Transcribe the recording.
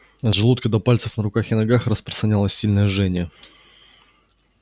от желудка до пальцев на руках и ногах распространялось сильное жжение